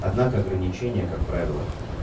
однако ограничение как правило